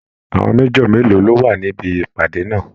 Àwọn Major mélòó ló wà níbi ìpàdé náà?